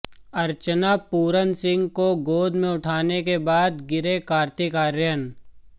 अर्चना पूरन सिंह को गोद में उठाने के बाद गिरे कार्तिक आर्यन